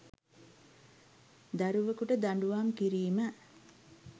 දරුවකුට දඬූවම් කිරීම